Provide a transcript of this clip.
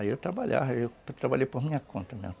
Aí eu trabalhava, eu trabalhei por minha conta mesmo.